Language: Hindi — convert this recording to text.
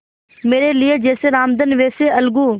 मेरे लिए जैसे रामधन वैसे अलगू